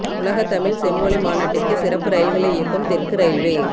உலகத் தமிழ் செம்மொழி மாநாட்டிற்கு சிறப்பு ரயில்களை இயக்கும் தெற்கு ரயில்வே